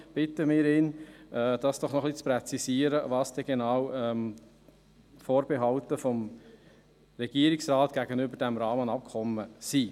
Darum bitten wir ihn, noch ein bisschen zu präzisieren, was denn die Vorbehalte des Regierungsrates gegenüber diesem Rahmenabkommen genau sind.